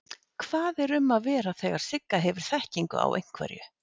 Hvað er um að vera þegar Sigga hefur þekkingu á einhverju?